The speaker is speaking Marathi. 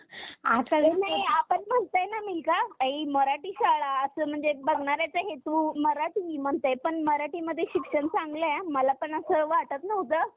आपण म्हणतय ना मिल्का ताई मराठी शाळा असं म्हणजे बघणाऱ्याचा हेतू मराठी म्हणताय पण मराठीमध्ये शिक्षण चांगलं आहे मला पण असं वाटत नव्हतं